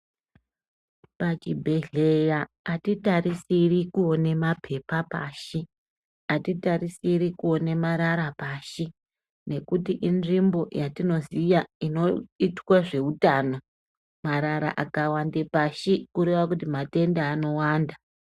Pa chibhedhlera ati tarisiri kuone mapepa pashi ati tarisiri kuone marara pashi nekuti inzvimbo ya tinoziya ino itwe zve utano marara aka wande pashi kureva kuti matenda ano wanda.